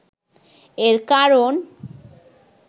এর কারণ